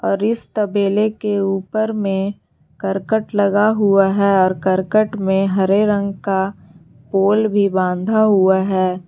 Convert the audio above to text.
और इस तबेले के ऊपर में करकट लगा हुआ है और करकट में हरे रंग का पोल भी बांधा हुआ है।